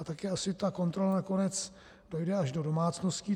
A také asi ta kontrola nakonec dojde až do domácností.